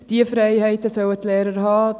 Diese Freiheiten sollen die Lehrer haben.